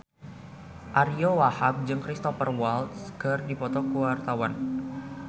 Ariyo Wahab jeung Cristhoper Waltz keur dipoto ku wartawan